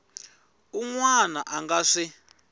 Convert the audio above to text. un wana a nga swi